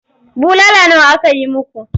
Bulala nawa aka yi muku?